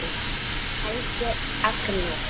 Helgi Agnars.